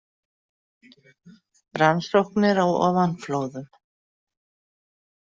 Rannsóknir á ofanflóðum.